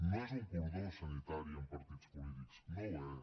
no és un cordó sanitari amb partits polítics no ho és